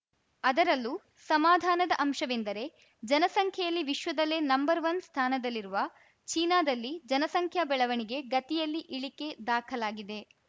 ಅದರಲ್ಲೂ ಸಮಾಧಾನದ ಅಂಶವೆಂದರೆ ಜನಸಂಖ್ಯೆಯಲ್ಲಿ ವಿಶ್ವದಲ್ಲೇ ನಂಬರ್ವನ್ ಸ್ಥಾನದಲ್ಲಿರುವ ಚೀನಾದಲ್ಲಿ ಜನಸಂಖ್ಯಾ ಬೆಳವಣಿಗೆ ಗತಿಯಲ್ಲಿ ಇಳಿಕೆ ದಾಖಲಾಗಿದೆ